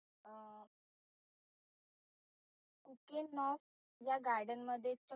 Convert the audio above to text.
या garden मध्ये